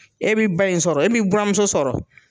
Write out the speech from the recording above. E bɛ ba in sɔrɔ, e bɛ buramuso sɔrɔ!